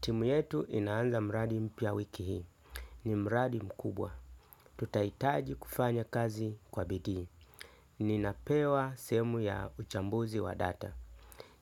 Timu yetu inaanza mradi mpya wiki hii. Ni mradi mkubwa. Tutahitaji kufanya kazi kwa bidii. Ninapewa sehemu ya uchambuzi wa data.